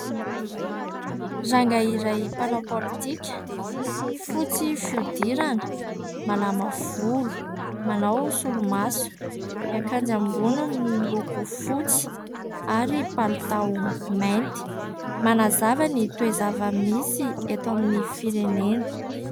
Rangahy iray mpanao politika. Fotsy fihodirana, malama volo, manao solomaso ; ny akanjo ambony miloko fotsy ary palitao mainty. Manazava ny toe-java-misy eto amin'ny firenena.